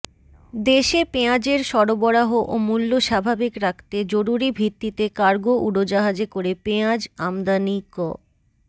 দেশে পেঁয়াজের সরবরাহ ও মূল্য স্বাভাবিক রাখতে জরুরি ভিত্তিতে কার্গো উড়োজাহাজে করে পেঁয়াজ আমদানি ক